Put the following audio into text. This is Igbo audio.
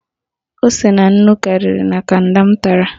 Ose na nnu karịrị na Kanda m tara